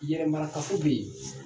Yɛrɛ mara kafo be yen